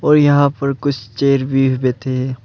और यहां पर कुछ चेयर्स पर भी बैठे हैं।